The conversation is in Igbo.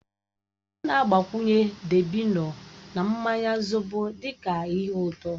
A na-agbakwunye dabino na mmanya zobo dị ka ihe ụtọ.